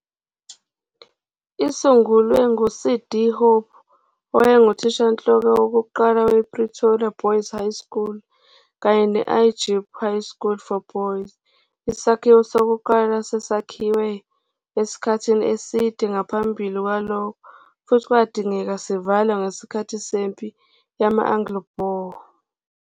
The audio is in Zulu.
Isungulwe ngu-C.D. Hope, owayenguthishanhloko wokuqala we-Pretoria Boys High School kanye ne-I-Jeppe High School for Boys, isakhiwo sokuqala sasakhiwe esikhathini eside ngaphambi kwalokho futhi kwadingeka sivalwe ngesikhathi sempi yama-Anglo-Boer.